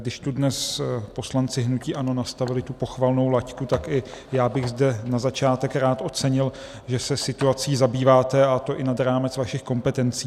Když tu dnes poslanci hnutí ANO nastavili tu pochvalnou laťku, tak i já bych zde na začátek rád ocenil, že se situací zabýváte, a to i nad rámec svých kompetencí.